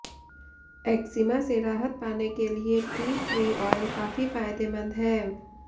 eczema से राहत पाने के लिए टी ट्री ऑयल काफी फायदेमंद है